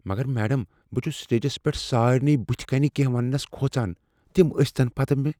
مگر میڈم، بہٕ چُھس سٹیجس پیٹھ سارنٕے بٕتھہِ کَنۍ کینہہ ونٛنس کھوژان۔ تِم ٲسۍتَن پتہٕ مےٚ۔